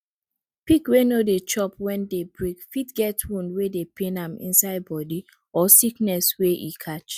pig wey no dey chop wen day break fit get wound wey dey pain am inside body or sickness wey e catch